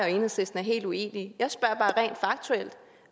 enhedslisten er helt uenige